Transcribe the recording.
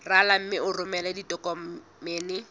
rala mme o romele ditokomene